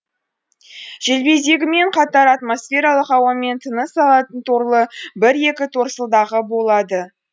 желбезегімен қатар атмосфералық ауамен тыныс алатын торлы бір екі торсылдағы болады